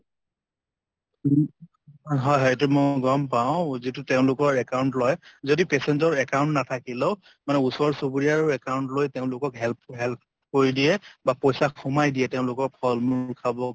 হয় হয় এইটো মই গম পাওঁ যিটো তেওঁলোকৰ account লয়, যদি patient ৰ account নাথাকিলেও মানে ওচৰ চুবুৰীয়াৰ account লৈ তেওঁলোকক help help কৰি দিয়ে বা পইছা সোমাই দিয়ে তেওঁলোকক ফল মূল খাব